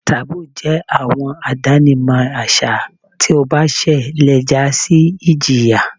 Taboos jẹ awọn idinamọ aṣa ti o ba ṣẹ le ja si ijiya